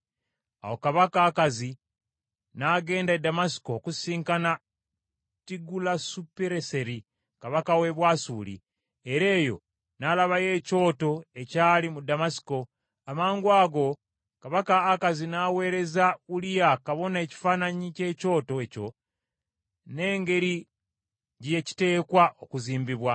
Awo kabaka Akazi n’agenda e Ddamasiko okusisinkana Tigulasupireseri kabaka w’e Bwasuli, era eyo n’alabayo ekyoto ekyali mu Ddamasiko. Amangwago kabaka Akazi n’aweereza Uliya kabona ekifaananyi ky’ekyoto ekyo, n’engeri gye kiteekwa okuzimbibwa.